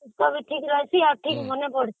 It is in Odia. ଦେହ ବି ଠିକ ରହୁଛି ଆଉ ଠିକ ମନେ ବି ପଡୁଛି